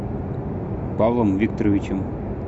павлом викторовичем